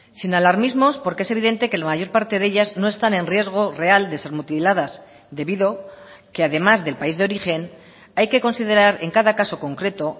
sin alarmismos porque es evidente que la mayor parte de ellas no están en riesgo real de ser mutiladas debido que además del país de origen hay que considerar en cada caso concreto